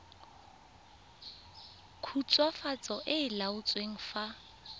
khutswafatso e e laotsweng fa